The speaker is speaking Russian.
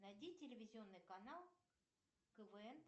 найди телевизионный канал квн